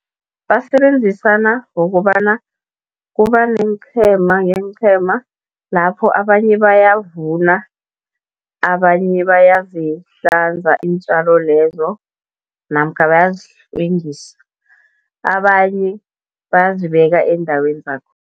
Basebenzisana ngokobana kuba neenqhema ngeenqhema lapho abanye bayavuna, abanye bayazihlanza iintjalo lezo namkha bayazihlwengisa. Abanye bazibeka eendaweni